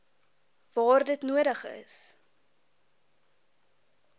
waar dit nodig